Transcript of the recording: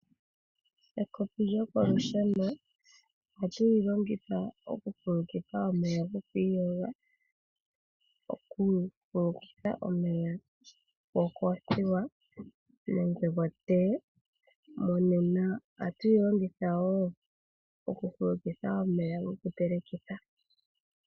Ekopi lyokolusheno ohatu li longitha oku fulukitha omeya goku iyoga, oku fulukitha omeya gokoothiwa nenge gotee. Monena ohatu li longitha wo oku fulukitha omeya goku telekitha.